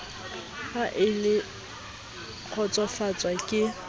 ha e a kgotsofatswa ke